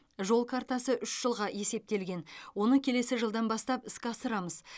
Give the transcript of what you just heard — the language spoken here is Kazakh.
жол картасы үш жылға есептелген оны келесі жылдан бастап іске асырамыз